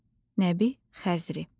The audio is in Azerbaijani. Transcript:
Nəbi Xəzri.